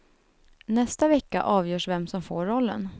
Nästa vecka avgörs vem som får rollen.